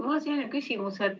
Mul on selline küsimus.